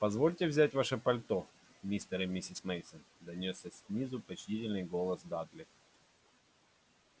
позвольте взять ваши пальто мистер и миссис мейсон донёсся снизу почтительный голос дадли